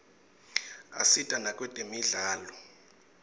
asita nakwetemidlalo